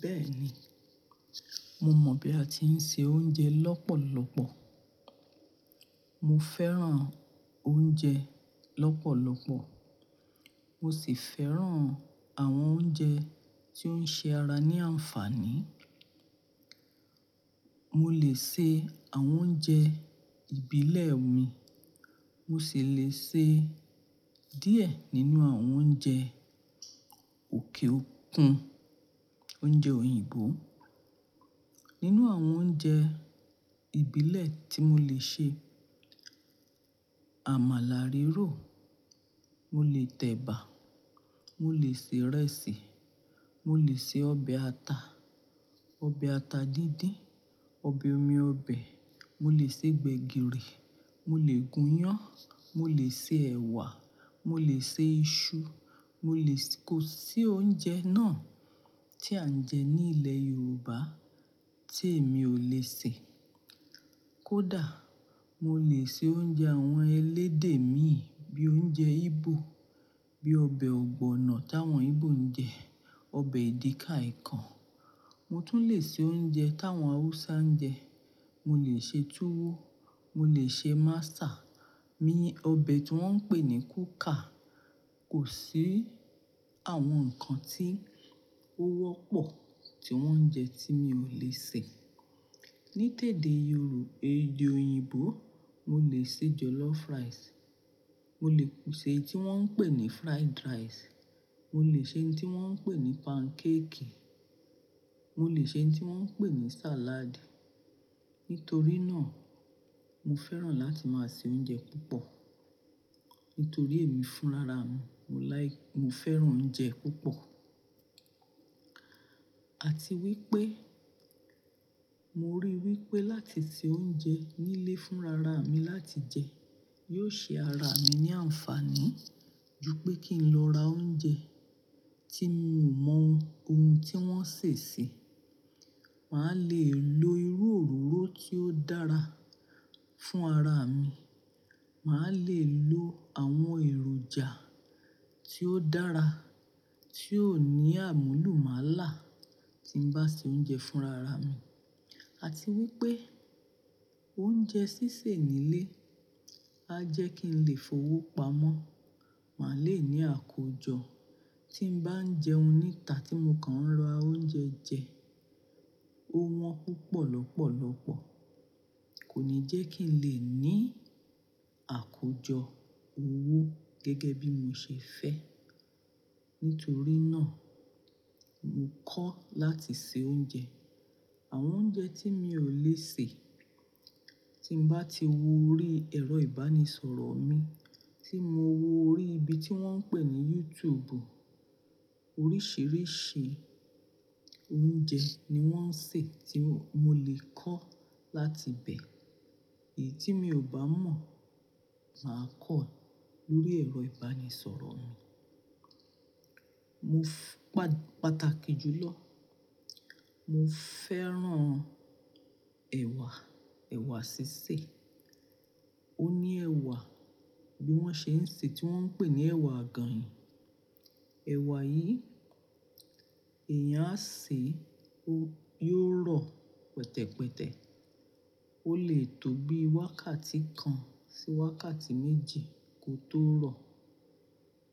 Bẹ́ẹ̀ni, mo mọ̀ bí a ti ń se oúnjẹ lọ́pọ̀lọpọ̀. Mo fẹ́ràn oúnjẹ lọ́pọ̀lọpọ̀. Mo sì fẹ́ràn àwọn oúnjẹ tí ó ń ṣe ara ní ànfàní. Mo lè ṣe àwọn oúnjẹ ìbílẹ̀ mi, mo sì lè ṣe díẹ̀ nínú àwọn oúnjẹ òkè òkun, oúnjẹ òyìnbó. Nínú àwọn oúnjẹ ìbílẹ̀ tí mo lè ṣe, amala rírò, mo lè tẹ̀bà, mo lè se ìrẹsì, mo lè se ọbẹ̀ ata, ọbẹ̀ ata díndín, ọbẹ̀ omi ọbẹ̀, mo lè se gbẹ̀gìrì, mo lè gùnyán, mo lè se ẹ̀wà, mo lè se iṣu, mo lè-- kò sí oúnjẹ náà tí à ń jẹ ní ilẹ̀ Yorùbá tí èmi ò lè sè. Kódà mo lè se oúnjẹ àwọn elédè mi bí i oúnjẹ Ígbò, bí i ọbẹ̀ ọ̀gbọ̀nọ̀ táwọn Ígbò ń jẹ, ọbẹ̀ edika-ikong. Mo tún lè se oúnjẹ táwọn Haúsá ń jẹ. Mo lè se tuwo, mo lè se masa, mi-- ọbẹ̀ tí wọ́n ń pè ní kuka. Kò sí àwọn nǹkan tí ó wọ́pọ̀ tí wọ́n ń jẹ tí mi ò lè sè. Ní tẹ̀ẹ́de Yorùbá, èdè òyìnbó, mo lè se jollof rice, mo lè ṣe tí wọ́n ń pè ní fried rice, mo lè ṣe ohun tí wọ́n ń pè ní pancake, mo lè ṣe ohun tí wọ́n ń pè ní salad. Nítorí náà, mo fẹ́ràn láti máa se oúnjẹ púpọ̀. Nítorí èmi fún rara mi, mo láì-- mo fẹ́ràn oúnjẹ púpọ̀. Àti wípé mo rí wípé láti se oúnjẹ nílé fún rara mi láti jẹ yóò ṣe ara mi ní àǹfàní ju pé kí n lọ ra oúnjẹ tí mi ò mọ ohun tí wọ́n sè sí. Màá lè lo irú òróró tí ó dára fún ara mi. Màá lè lo àwọn èròjà tí ó dára tí ó ní àmúlùmálà tí ń bá ṣe oúnjẹ fún rara mi. Àti wípé oúnjẹ sísè nílé á jẹ́ kí n lè fowó pamọ́. Màá lè ní àkójọ tí ń bá ń jẹun níta tí mo kàn ń lọ ra oúnjẹ jẹ, ó wọ́n púpọ̀ lọ́pọ̀lọpọ̀. Kò ní jẹ́ kí n lè ní àkójọ owó gẹ́gẹ́ bí mo ṣe fẹ́. Nítorí náà, mo kọ́ láti se oúnjẹ. Àwọn oúnjẹ tí mi ò lè sè, tí mo bá ti wo orí ẹ̀rọ ìbánisọ̀rọ̀ mi tí mo wo orí ibi tí wọ́n ń pè ní YouTube, oríṣìíríṣìí oúnjẹ ni wọ́n ń sè tí mo lè kọ́ láti bẹ. Èyí tí mi ò bá mọ̀, màá kọ́ lórí ẹ̀rọ ìbánisọ̀rọ̀ mi. Mo f-- pà-pàtàkì jù lọ, mo fẹ́ràn ẹ̀wà, ẹ̀wà sísè. Ó ní ẹ̀wà bí wọ́n ṣe ń sè tí wọ́n ń pè ní ẹ̀wà àgànyìn. Ẹ̀wà yìí èèyàn á sè, ó yóò rọ pẹ̀tẹ̀pẹ̀tẹ̀. Ó lè tó bí wákàtí kan sí wákàtí méjì kó tó rọ.